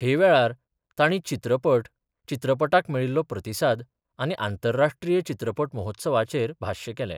हे वेळार तांणी चित्रपट, चित्रपटाक मेळील्लो प्रतिसाद आनी आंतरराष्ट्रीच चित्रपट महोत्सवाचेर भाश्य केलें.